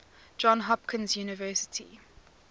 johns hopkins university